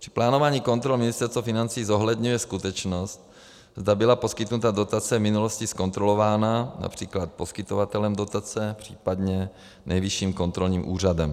Při plánování kontrol Ministerstvo financí zohledňuje skutečnost, zda byla poskytnutá dotace v minulosti zkontrolována, například poskytovatelem dotace, případně Nejvyšším kontrolním úřadem.